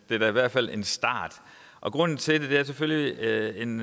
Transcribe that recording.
er da i hvert fald en start grunden til det er selvfølgelig en